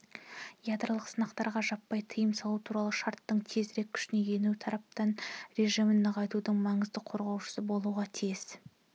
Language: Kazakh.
ядролық сынақтарға жаппай тыйым салу туралы шарттың тезірек күшіне енуі таратпау режімін нығайтудың маңызды қозғаушысы болуға тиіс